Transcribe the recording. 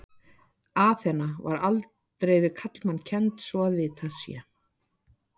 Aþena var aldrei við karlmann kennd svo að vitað sé.